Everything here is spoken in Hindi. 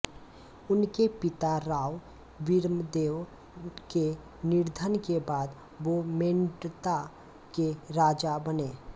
उनके पिता राव वीरमदेव के निधन के बाद वो मेड़ता के राजा बने